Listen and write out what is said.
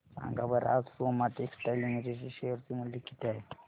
सांगा बरं आज सोमा टेक्सटाइल लिमिटेड चे शेअर चे मूल्य किती आहे